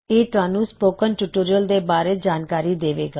ਇਹ ਤੁਹਾਨੂੰ spoken tutorial ਬਾਰੇ ਸੰਖੇਪ ਵਿੱਚ ਜਾਣਕਾਰੀ ਦੇਵੇਗਾ